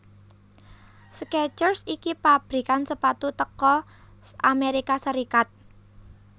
Skechers iki pabrikan sepatu teko Amerika Serikat